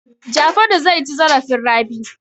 Jafaru zai ci zarafin Rabi.